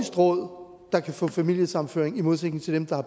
råd der kan få familiesammenføring i modsætning til dem der har